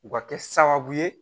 U ka kɛ sababu ye